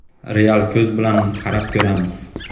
real ko‘z bilan bilan qarab ko‘ramiz.